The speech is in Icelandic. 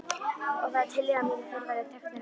Og það er tillaga mín að þeir verði teknir af.